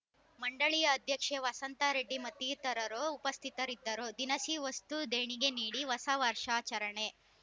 ಮಂಡಳಿಯ ಅಧ್ಯಕ್ಷೆ ವಸಂತಾ ರೆಡ್ಡಿ ಮತ್ತಿತರರು ಉಪಸ್ಥಿತರಿದ್ದರು ದಿನಸಿ ವಸ್ತು ದೇಣಿಗೆ ನೀಡಿ ಹೊಸ ವರ್ಷಾಚರಣೆ